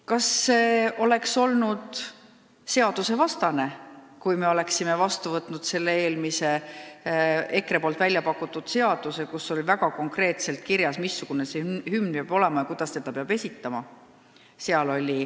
Kas see oleks olnud seadusvastane, kui me oleksime olnud vastu võtnud eelmise, EKRE pakutud seaduse, kus oli väga konkreetselt kirjas, missugune see hümn peab olema ja kuidas seda peab esitama?